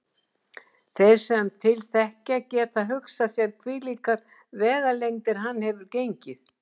Þeir sem til þekkja geta hugsað sér hvílíkar vegalengdir hann hefur gengið.